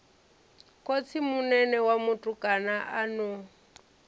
khotsimunene wa mutukana a no